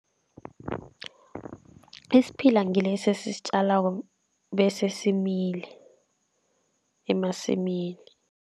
Isiphila ngilesi esisitjalako bese simile emasimini.